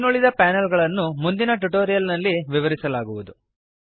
ಇನ್ನುಳಿದ ಪ್ಯಾನಲ್ ಗಳನ್ನು ಮುಂದಿನ ಟ್ಯುಟೋರಿಯಲ್ ನಲ್ಲಿ ವಿವರಿಸಲಾಗುವುದು